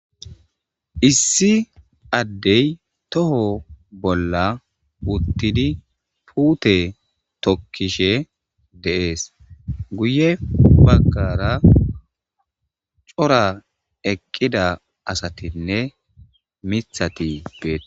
issi addey toho bolla uttidi puute tokkishe deees guye baggara cora eqqida asatinne mithati beete